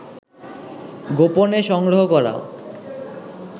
গোপনে সংগ্রহ করা